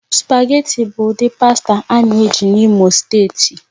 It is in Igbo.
Sụpágètị̀ bụ ụdị pàsta a na-eji n'Imo steeti